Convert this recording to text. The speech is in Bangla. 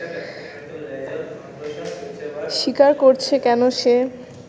স্বীকার করছে কেন সে